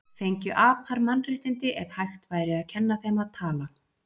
Fengju apar mannréttindi ef hægt væri að kenna þeim að tala?